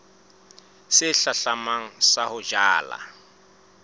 se hlahlamang sa ho jala